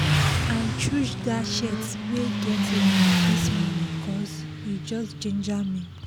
i choose that shirt wey get line this morning cos e just ginger me